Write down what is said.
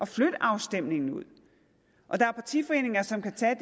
flytte afstemningen ud og der er partiforeninger som kan tage